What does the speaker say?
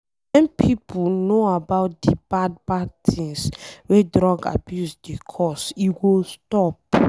wen pipo know about de bad bad things wey drug abuse dey cos, e go stop.